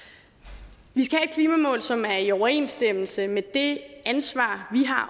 vi klimamål som er i overensstemmelse med det ansvar vi har